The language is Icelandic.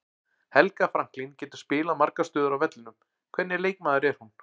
Helga Franklín getur spilað margar stöður á vellinum, hvernig leikmaður er hún?